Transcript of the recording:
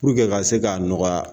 ka se k'a nɔgɔya